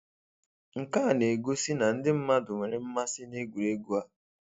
Nke a na-egosi na ndị mmadụ nwere mmasị na egwuregwu a